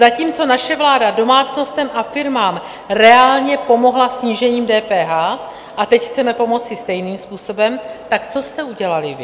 Zatímco naše vláda domácnostem a firmám reálně pomohla snížením DPH, a teď chceme pomoci stejným způsobem, tak co jste udělali vy?